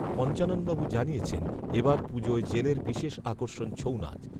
পঞ্চাননবাবু জানিয়েছেন এ বার পুজোয় জেলের বিশেষ আকর্ষণ ছৌনাচ